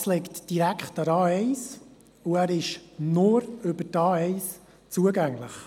Der Platz liegt direkt an der A1, und er ist nur über die A1 zugänglich.